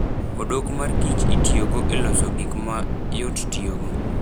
Odok mar Kich itiyogo e loso gik ma yot tiyogo.